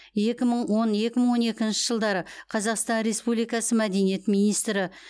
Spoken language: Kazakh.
екі мың он екі мың он екінші жылдары қазақстан республикасы мәдениет министрі